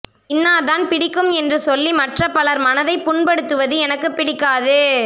இன்னார்தான் பிடிக்கும் என்று சொல்லி மற்ற பலர் மனதைப் புண்படுத்துவது எனக்குப் பிடிக்காது